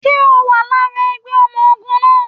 Ṣe o wà lára ẹgbẹ́ ọmọ ogun náà?